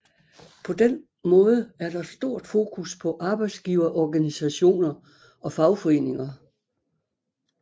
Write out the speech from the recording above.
På den måde er der stort fokus på arbejdsgiverorganisationer og fagforeninger